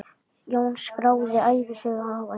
Jón skráði ævisögu afa síns.